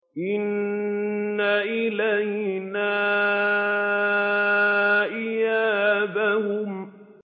إِنَّ إِلَيْنَا إِيَابَهُمْ